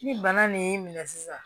Ni bana nin y'i minɛ sisan